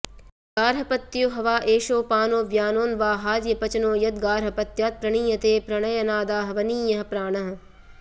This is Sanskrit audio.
गार्हपत्यो ह वा एषोऽपानो व्यानोऽन्वाहार्यपचनो यद्गार्हपत्यात् प्रणीयते प्रणयनादाहवनीयः प्राणः